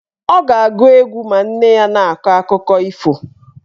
Ọ ga-agụ egwu ma nne ya na-akọ akụkọ ifo.